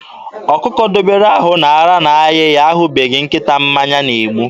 Ọkụkọ dobere ahụ na ara na-ayị ya ahụbeghị nkịta mmanya na-egbu.